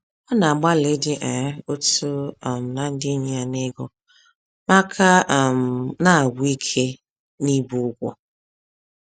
Ọ na-agbalị ịdị um otu um na ndị enyi ya n’ego, ma ka um na-agwụ ike n’ibu ụgwọ.